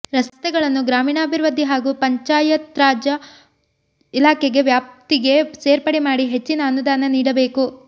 ರಸ್ತೆಗಳನ್ನು ಗ್ರಾಮೀಣಾಭಿವೃದ್ಧಿ ಹಾಗೂ ಪಂಚಾಯತ್ರಾಜ್ ಇಲಾಖೆಗೆ ವ್ಯಾಪ್ತಿಗೆ ಸೇರ್ಪಡೆ ಮಾಡಿ ಹೆಚ್ಚಿನ ಅನುದಾನ ನೀಡಬೇಕು